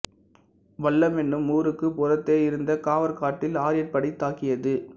வல்லம் என்னும் ஊருக்குப் புறத்தே இருந்த காவற்காட்டில் ஆரியர்படை தாக்கியது